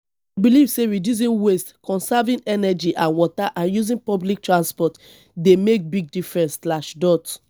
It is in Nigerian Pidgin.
i dey believe say reducing waste conserving energy and water and using public transport dey make big difference.